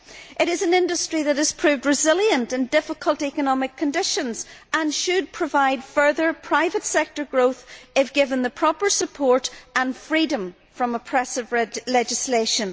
It is an industry which has proved resilient in difficult economic conditions and should provide further private sector growth if given the proper support and freedom from oppressive legislation.